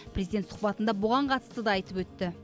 президент сұхбатында бұған қатысты да айтып өтті